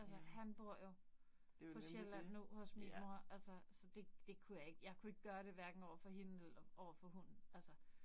Altså han bor jo på Sjælland nu hos min mor, altså så det det kunne jeg ikke. Jeg kunne ikke gøre det hverken overfor hende eller overfor hunden. Altså